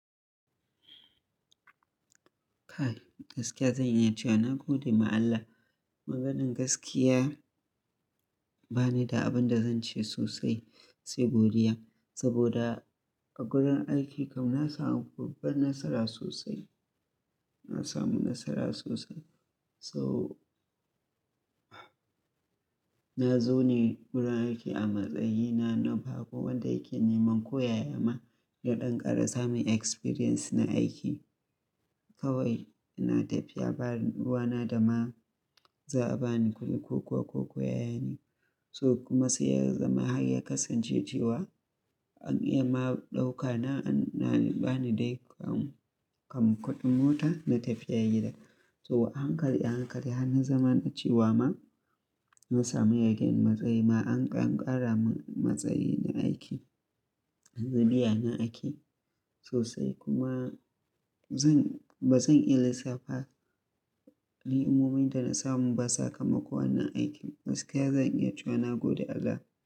Kai gaskiya zan iya cewa na gode ma Allah. Maganan gaskiya ba ni da abin da zan ce sosai sai godiya saboda a gurin aiki kam na samu babban nasara sosai. Na samu nasara sosai. So na zo ne gurin aiki a matsayina na bako wanda yake neman koya ya ma da ɗan ƙara samun experience na aiki. Kawai ina tafiya ba ruwana da ma za a ba ni kuɗi ko kuwa ko koyaya ne. So kuma sai ya zama har ya kasance cewa an iya ma ɗaukana an ba ni dai kam, kam kuɗin mota na tafiya gida. So a hankali, a hankali han na zaman cewa ma na samu yagen matsayi ma an ƙara mun matsayi na aiki, yanzu biya na ake sosai kuma zan, ba zan iya lissafa ni'imomin da na samu ba sakamakon wannan aikin. Gaskiya zan iya cewa na gode Allah.